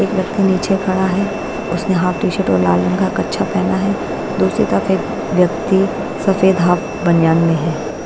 एक व्यक्ति नीचे खड़ा है उसने हाफ टीशर्ट और लाल रंग का कच्छा पेहना है दूसरी तरफ एक व्यक्ति सफेद हाफ बनियान में है।